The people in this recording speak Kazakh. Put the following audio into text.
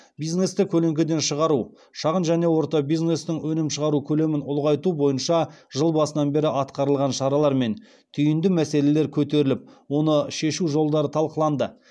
бизнесті көлеңкеден шығару шағын және орта бизнестің өнім шығару көлемін ұлғайту бойынша жыл басынан бері атқарылған шаралар мен түйінді мәселелер көтеріліп оны шешу жолдары талқыланды